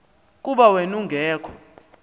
kuba wen ungekho